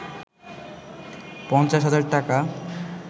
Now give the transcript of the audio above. ৫০ হাজার টাকা